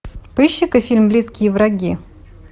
поищи ка фильм близкие враги